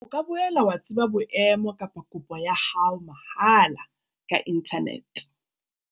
O ka boela wa tseba boemo ba kopo ya hao mahala ka inthanete.